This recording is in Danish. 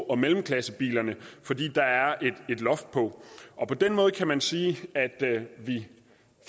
og mellemklassebilerne fordi der er et loft på på den måde kan man sige at vi